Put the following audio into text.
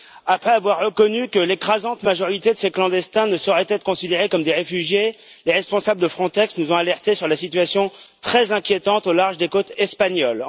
Après avoir reconnu que l'écrasante majorité de ces clandestins ne sauraient être considérés comme des réfugiés, les responsables de Frontex nous ont alertés sur la situation très inquiétante au large des côtes espagnoles.